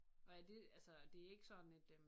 Og er det altså det ikke sådan et øh